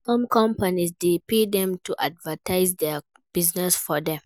Some companies de pay dem to advertise their business for them